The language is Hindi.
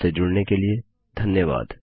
हमसे जुड़ने के लिए धन्यवाद